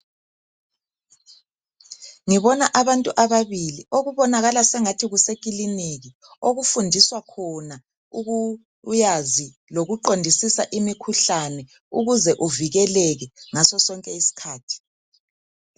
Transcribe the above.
Ngibona abantu ababili okubonakala sengathi kusekiliniki okufundiswa khona ukwazi lokuqondisisa imikhuhlane ukuze uvikeleke ngaso sonke isikhathi.